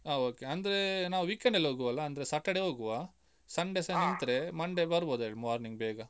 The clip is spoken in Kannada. ಹ okay ಅಂದ್ರೆ ನಾವು weekend ಅಲ್ಲಿ ಹೋಗ್ವಾ ಅಲಾ? ಅಂದ್ರೆ Saturday ಹೋಗುವ Sunday ಸಾ ನಿಂತ್ರೆ Monday ಬರ್ಬೋದು ಹೇಳಿ morning ಬೇಗ.